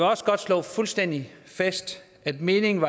også godt slå fuldstændig fast at meningen